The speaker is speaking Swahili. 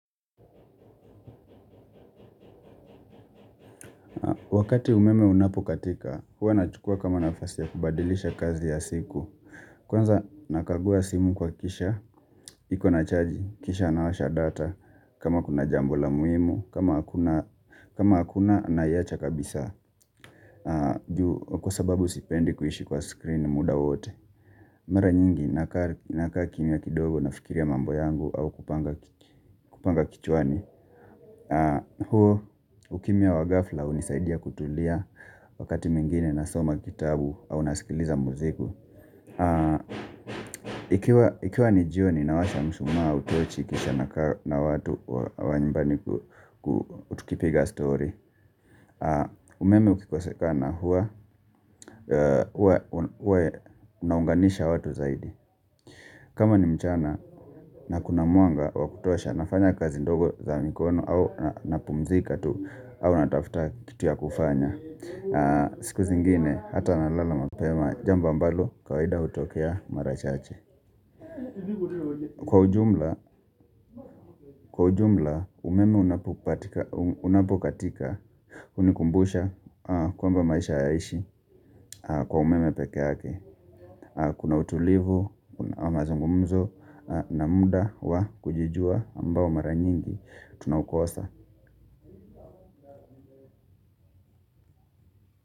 Wakati umeme unapokatika, huwa nachukua kama nafasi ya kubadilisha kazi ya siku. Kwanza nakagua simu kuhakikisha, iko na chaji, kisha nawasha data, kama kuna jambo la muhimu, kama hakuna naiacha kabisa. Juu, kwa sababu sipendi kuishi kwa screen muda wote. Mara nyingi, nakaa kimya kidogo nafikiria mambo yangu au kupanga kichwani. Huo ukimya wa ghafla hunisaidia kutulia wakati mwingine nasoma kitabu au nasikiliza muziki. Ikiwa ni jioni nawasha mshumaa au tochi kisha nakaa na watu wa nyumbani ku tukipiga story. Umeme ukikosekana huwa unaunganisha watu zaidi. Kama ni mchana na kuna mwanga wakutosha nafanya kazi ndogo za mikono au na pumzika tu au natafuta kitu ya kufanya. Siku zingine hata nalala mapema jambo ambalo kawaida hutokea mara chache. Kwa ujumla umeme unapokatika hunikumbusha kwamba maisha hayaishi kwa umeme pekee yake. Kuna utulivu, mazungumzo na muda wa kujijua ambao mara nyingi, tunaukosa.